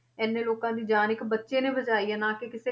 ਇੰਨੇ ਲੋਕਾਂ ਦੀ ਜਾਨ ਇੱਕ ਬੱਚੇ ਨੇ ਬਚਾਈ ਹੈ ਨਾ ਕਿ ਕਿਸੇ,